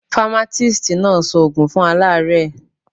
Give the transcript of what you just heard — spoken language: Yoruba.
Famatisti náà sọ ògùn fún alaare